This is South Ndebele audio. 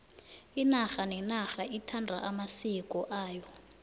inarha nenarha ithanda amasiko ayo